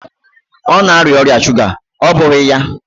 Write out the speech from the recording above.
Ọ na-arịa ọrịa shuga, ọ́ bụghị ya?